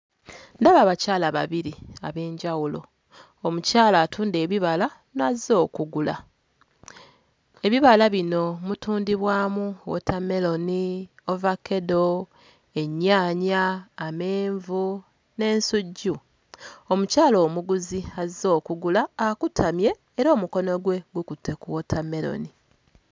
Ndaba abakyala babiri ab'enjawulo: omukyala atunda ebibala n'azze okugula. Ebibala bino mutundibwamu wootammeroni, ovakkedo, ennyaanya, amenvu n'ensujju. Omukyala omuguzi azze okugula akutamye era omukono gwe gukutte ku wootammeroni.